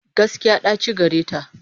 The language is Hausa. Gaskiya, ɗaci gareta.